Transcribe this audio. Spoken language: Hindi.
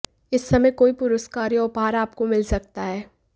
इस समय कोई पुरस्कार या उपहार आपको मिल सकता है